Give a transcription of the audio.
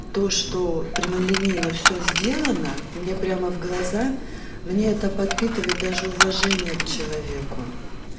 то что прямолинейно всё сделано мне прямо в глаза мне это подпитывает даже уважение к человеку